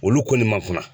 Olu ko ni ma kunna